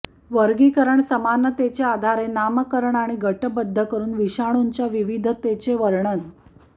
वर्गीकरण समानतेच्या आधारे नामकरण आणि गटबद्ध करून विषाणूंच्या विविधतेचे वर्णन